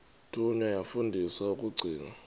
thunywa yafundiswa ukugcina